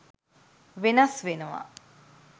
වෙනස් වෙනවා.